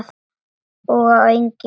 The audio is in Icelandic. Og á eignir.